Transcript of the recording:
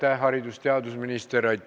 Aitäh, haridus- ja teadusminister!